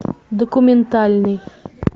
документальный